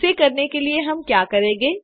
इसे करने के लिए हम क्या करेंगे